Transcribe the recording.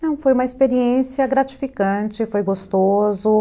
Não, foi uma experiência gratificante, foi gostoso.